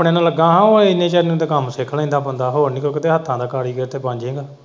ਲੱਗਾਂ ਹਾਂ ਇੰਨੀ ਦੇਰ ਨੂੰ ਤੇ ਕੰਮ ਸਿੱਖ ਲੈਂਦਾ ਬੰਦਾ ਹੋਰ ਨਹੀਂ ਕੁੱਝ ਹੱਥਾਂ ਦਾ ਕਾਰੀਗਰ ਤੇ ਬਣ ਜੇਗਾ।